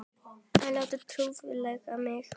Að láta trufla mig.